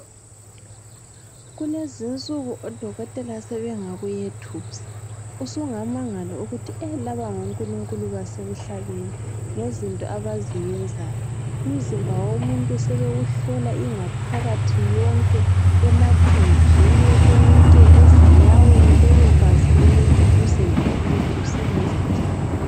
Kulezinsuku odokotela sebengakuyethusa usungamangala ukuthi laba ngonkulunkulu basemhlabeni ngezinto abaziyenzayo umzimba womuntu sebewuhlola ingaphakathi yonke emathunjini konke ezinyaweni bebekwazi ukuthi umzimba womuntu usebenza njani.